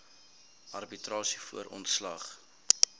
arbitrasie voor ontslag